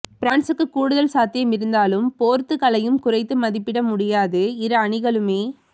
பிரான்சுக்கு கூடுதல் சாத்தியம் இருந்தாலும் போர்த்துக்கலை யும் குறைத்து மதிப்பிட முடியாது இரு அணிகளுமே